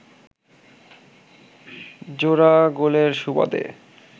জোড়া গোলের সুবাদে